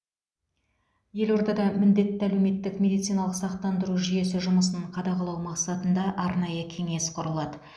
елордада міндетті әлеуметтік медициналық сақтандыру жүйесі жұмысын қадағалау мақсатында арнайы кеңес құрылады